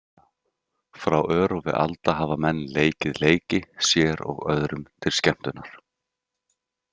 Frá örófi alda hafa menn leikið leiki, sér og öðrum til skemmtunar.